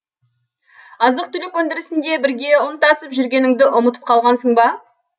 азық түлік өндірісінде бірге ұн тасып жүргеніңді ұмытып қалғансың ба